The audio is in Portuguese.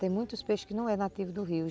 Tem muitos peixes que não são nativos do rio.